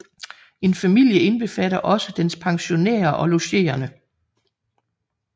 En familie indbefatter også dens pensionærer og logerende